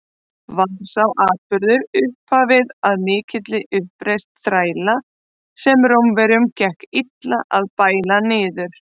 Var sá atburður upphafið að mikilli uppreisn þræla, sem Rómverjum gekk illa að bæla niður.